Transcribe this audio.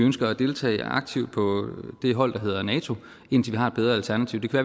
ønsker at deltage aktivt på det hold der hedder nato indtil vi har et bedre alternativ det kan